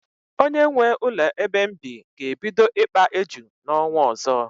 Onye nwee ụlọ ebe m bi ga-ebido ikpa éjù n'ọnwa ọzọ.